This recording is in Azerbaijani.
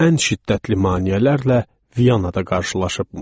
Ən şiddətli maneələrlə Viyanada qarşılaşıbmış.